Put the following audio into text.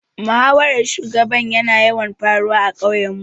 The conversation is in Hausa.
Muhawaran shugaba ya na yawan faruwa a ƙauyen mu